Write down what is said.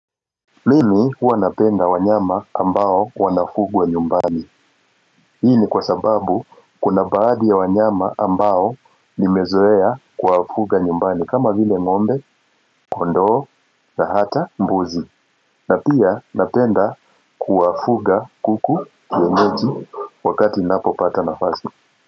Mimi huwa napenda wanyama ambao wanafugwa nyumbani Hii ni kwa sababu kuna baadhi ya wanyama ambao nimezoea kwa wafuga nyumbani kama vile ngombe, kondoo na hata mbuzi na pia napenda kuwafuga kuku kienyeji wakati napo pata nafasi.